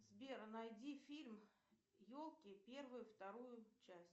сбер найди фильм елки первую вторую часть